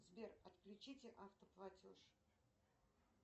сбер отключите автоплатеж